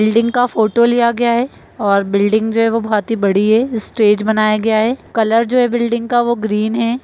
Building का photo लिया गया है और बिल्डिंग जो है वो बहुत ही बड़ी है| स्टेज बनाया गया है कलर जो है बिल्डिंग का वो ग्रीन है।